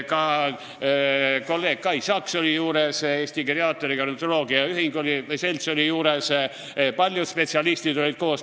Ka kolleeg Kai Saks oli seal juures, Eesti geriaatria ja gerontoloogia selts oli seal juures, paljud spetsialistid olid koos.